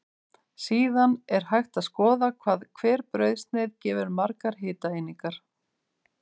Síðan er hægt að skoða hvað hver brauðsneið gefur margar hitaeiningar.